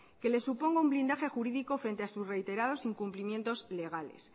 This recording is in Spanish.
que les suponga un blindaje jurídico frente a sus reiterados incumplimientos legales